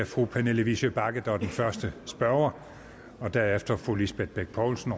fru pernille vigsø bagge der bliver den første spørger derefter fru lisbeth bech poulsen